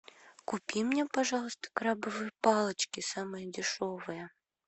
купи мне пожалуйста крабовые палочки самые дешевые